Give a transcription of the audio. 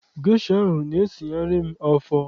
Gesha na-esigharị m afọ.